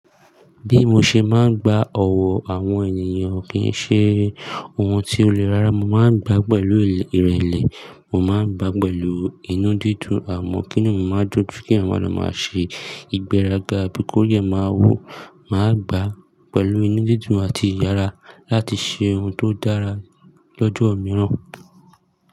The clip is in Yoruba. Bí mo ṣe máa ń gba ọ̀wọ̀ àwọn ènìyàn kì í ṣe ohun ti ó le rárá. Mo máa ń gbá pẹ̀lú ìrẹ̀lẹ̀, mo máa ń gbá pẹ̀lú inú dídùn, àmọ́ kí inu mi máa ń dùn ju kí èèyàn má lọ maa ṣe ìgbéraga bí kori ẹ máa wù. Màá gbá pẹ̀lú inú dídùn àti ìyára láti ṣe ohun tó dára lọ́jọ́ mìíràn.